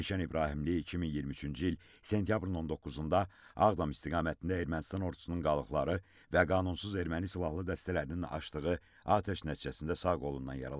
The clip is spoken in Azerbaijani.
Elşən İbrahimli 2023-cü il sentyabrın 19-da Ağdam istiqamətində Ermənistan ordusunun qalıqları və qanunsuz erməni silahlı dəstələrinin açdığı atəş nəticəsində sağ qolundan yaralanıb.